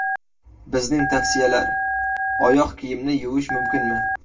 Bizning tavsiyalar: Oyoq kiyimni yuvish mumkinmi?